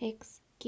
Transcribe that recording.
х. к.